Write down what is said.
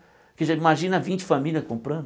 Porque já imagina vinte famílias comprando.